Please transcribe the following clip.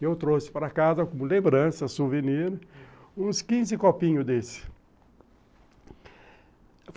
Eu trouxe para casa como lembrança, souvenir, uns quinze copinhos desse.